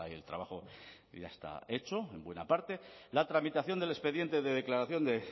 el trabajo ya está hecho en buena parte la tramitación del expediente de declaración de